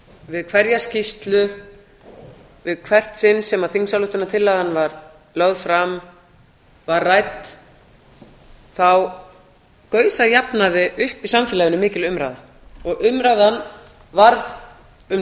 við hverja skýrslu í hvert sinn sem þingsályktunartillagan var lögð fram var rædd þá gaus að jafnaði upp í samfélaginu mikil umræða og umræðan varð um